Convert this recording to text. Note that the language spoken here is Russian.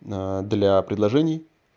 а для предложений